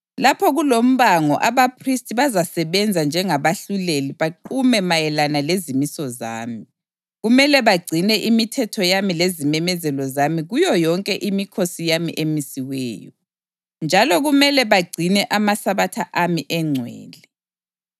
Lapho kulombango abaphristi bazasebenza njengabahluleli baqume mayelana lezimiso zami. Kumele bagcine imithetho yami lezimemezelo zami kuyo yonke imikhosi yami emisiweyo, njalo kumele bagcine amaSabatha ami engcwele.